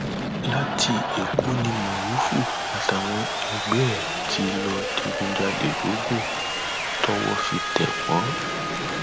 láti èkó ní morufú àtàwọn ẹgbẹ ẹ tí lọọ digunjalè logun tọwọ fi tẹ wọn